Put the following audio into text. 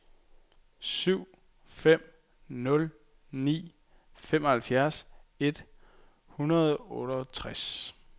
syv fem nul ni femoghalvfjerds et hundrede og otteogtres